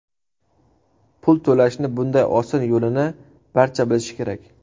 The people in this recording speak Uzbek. Pul to‘lashni bunday oson yo‘lini barcha bilishi kerak!